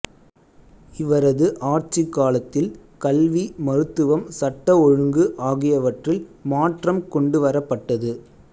இவரது ஆட்சிக் காலத்தில் கல்வி மருத்துவம் சட்ட ஒழுங்கு ஆகியவற்றில் மாற்றம் கொண்டுவரப்பட்டது